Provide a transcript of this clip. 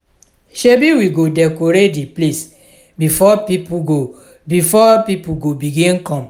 shebi we go decorate di place before pipo go before pipo go begin come.